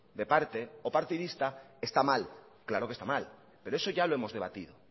o partidista está mal claro que está mal pero eso ya lo hemos debatido